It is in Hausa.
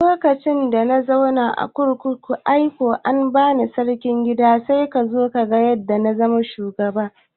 Lokacin da na zauna a kurkukun Ikoyi an bani Sarkin gida kai zo kaga na zama shugaba